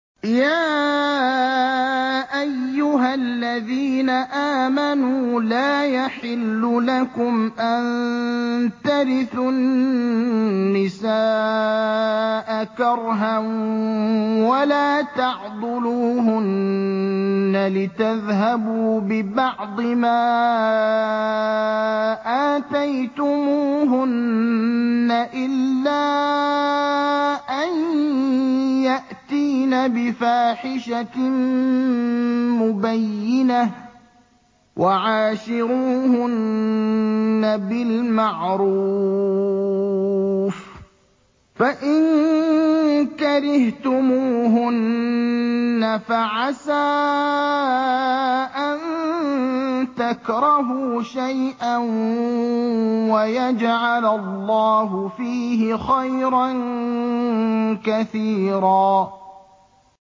يَا أَيُّهَا الَّذِينَ آمَنُوا لَا يَحِلُّ لَكُمْ أَن تَرِثُوا النِّسَاءَ كَرْهًا ۖ وَلَا تَعْضُلُوهُنَّ لِتَذْهَبُوا بِبَعْضِ مَا آتَيْتُمُوهُنَّ إِلَّا أَن يَأْتِينَ بِفَاحِشَةٍ مُّبَيِّنَةٍ ۚ وَعَاشِرُوهُنَّ بِالْمَعْرُوفِ ۚ فَإِن كَرِهْتُمُوهُنَّ فَعَسَىٰ أَن تَكْرَهُوا شَيْئًا وَيَجْعَلَ اللَّهُ فِيهِ خَيْرًا كَثِيرًا